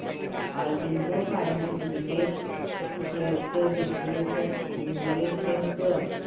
Aurobindo pharma limited shares चे विश्लेषण कर